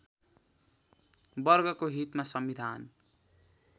वर्गको हितमा संविधान